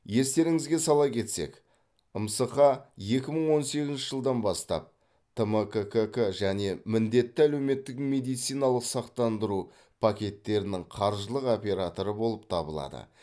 естеріңізге сала кетсек мсқ екі мың он сегізінші жылдан бастап тмккк және міндетті әлеуметтік медициналық сақтандыру пакеттерінің қаржылық операторы болып табылады